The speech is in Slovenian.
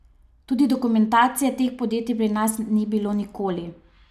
Tudi dokumentacije teh podjetij pri nas ni bilo nikoli.